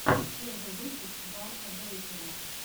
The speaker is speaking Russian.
первый выпуск барта бэйкера